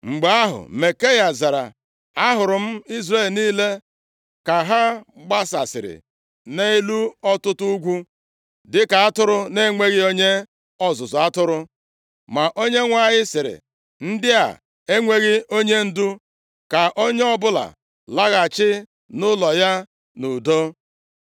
Mgbe ahụ, Mikaya zara, “Ahụrụ m Izrel niile ka ha gbasasịrị nʼelu ọtụtụ ugwu dịka atụrụ na-enweghị onye ọzụzụ atụrụ ma Onyenwe anyị sịrị, ‘Ndị a enweghị onyendu, ka onye ọbụla laghachi nʼụlọ ya nʼudo.’ ”